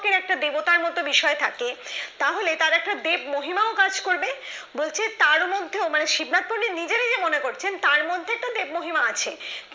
এর একটা দেবতার মত বিষয় থাকে তাহলে তার একটা দেব মহিমা কাজ করবে বলছে তারও মধ্যেও মানে শিবনাথ পন্ডিতের নিজেরই মনে করছেন যে তার মধ্যে তো দেব মহিমা আছে